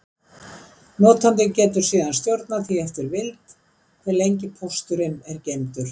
Notandi getur síðan stjórnað því eftir vild, hve lengi pósturinn er geymdur.